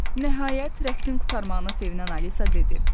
Nəhayət rəqsin qurtarmağına sevinən Alisa dedi: